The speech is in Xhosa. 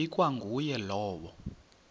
ikwa nguye lowo